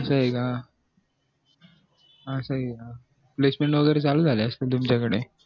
असं ये का placement वैगेरे चालू झाले असतील तुमच्या कडे